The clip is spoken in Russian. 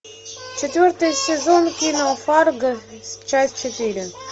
четвертый сезон кино фарго часть четыре